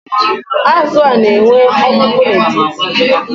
Azụ a, na-enwe ọkpụkpụ n’etiti